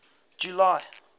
july